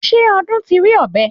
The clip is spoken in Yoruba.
Ṣé Ọdún ti rí ọ̀bẹ?